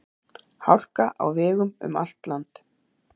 Hálka á vegum um allt land